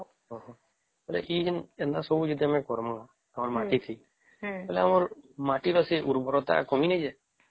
ଓହୋ ଏମିତି ଯେମିତି ଆମେ ଏମିତି କରିବ ମାଟି ଥି ଥଲେ ଆମର ମାଟି ଥି ସେ ଉର୍ବରତା କମି ନାଇଁ ଯେଇସେ